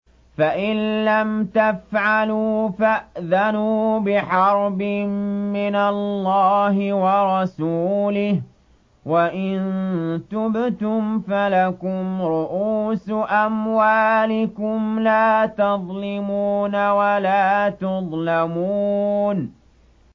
فَإِن لَّمْ تَفْعَلُوا فَأْذَنُوا بِحَرْبٍ مِّنَ اللَّهِ وَرَسُولِهِ ۖ وَإِن تُبْتُمْ فَلَكُمْ رُءُوسُ أَمْوَالِكُمْ لَا تَظْلِمُونَ وَلَا تُظْلَمُونَ